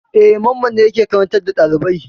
E, Mamman ne yake karantar da ɗalibai.